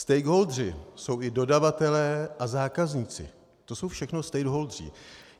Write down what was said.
Stakeholdeři jsou i dodavatelé a zákazníci, to jsou všechno stakeholdeři.